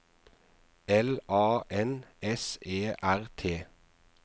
L A N S E R T